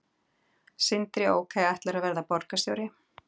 Sindri: Ok og ætlarðu að verða borgarstjóri?